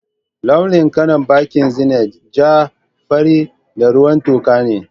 Launin kalan bankin Zenith ja ,fari, da ruwan tuka ne.